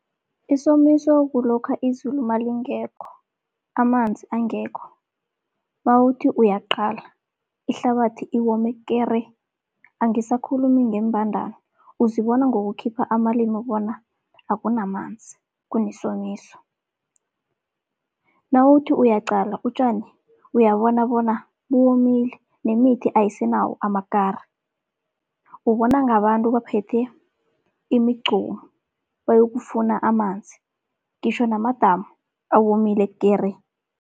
Isomiso kulokha izulu malingekho, amanzi angekho nawuthi uyaqala ihlabathi iwome kere. Angisakhulumi ngeembandana uzibona ngokukhipha amalimu bona akunamanzi kunesomiso. Nawuthi uyaqala utjani uyabona bona buwomile, nemithi ayisenawo amakari, ubona ngabantu baphethe imigqomu bayokufuna amanzi, ngitjho namadamu awomile kere.